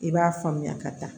I b'a faamuya ka taa